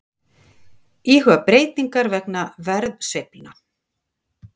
Íhuga breytingar vegna verðsveiflna